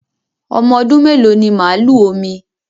Ọmọ ọdún mèló ní màlúù Omí?